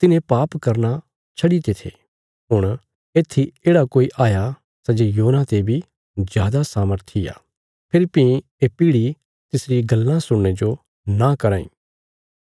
तिन्हे पाप करना छड्डीते थे हुण येत्थी येढ़ा कोई हाया सै जे योना ते बी जादा सामर्थी आ फेरी भीं ये पीढ़ी तिसरी गल्लां सुणने जो नां कराँ इ